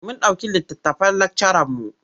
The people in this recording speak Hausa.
Mun ɗauki littattafan lakcaranmu.